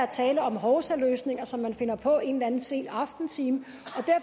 tale om hovsaløsninger som man finder på en eller anden sen aftentime